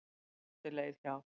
Átti leið hjá.